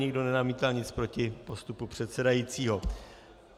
Nikdo nenamítal nic proti postupu předsedajícího.